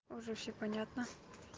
уже всё понятно